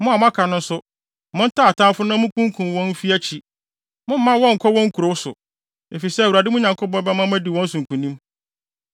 Mo a moaka no nso, montaa atamfo no na munkunkum wɔn mfi akyi. Mommma wɔnnkɔ wɔn nkurow so, efisɛ Awurade, mo Nyankopɔn bɛma mo adi wɔn so nkonim.”